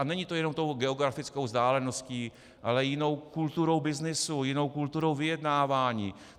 A není to jenom tou geografickou vzdáleností, ale jinou kulturou byznysu, jinou kulturou vyjednávání.